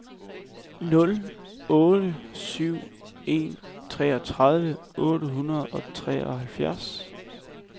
nul otte syv en treogtredive otte hundrede og treoghalvfjerds